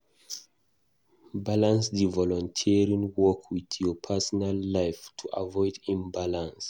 Balance di volunteering work with your personal life to avoid imbalance